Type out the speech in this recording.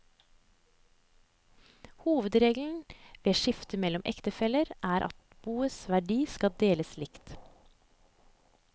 Hovedregelen ved skifte mellom ektefeller er at boets verdier skal deles likt.